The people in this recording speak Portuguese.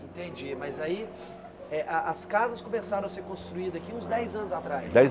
Entendi, mas aí eh ah as casas começaram a ser construídas aqui uns dez anos atrás? Dez